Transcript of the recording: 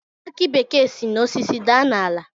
Aki bekee si n'osisi daa n'ala